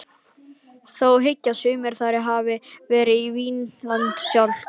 Þó hyggja sumir að þar hafi verið Vínland sjálft.